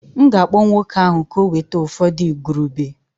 M'gākpọ nwoke ahu ka ọ weta ufọdu igurube